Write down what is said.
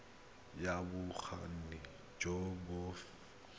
ya bokgoni jo bo feteletseng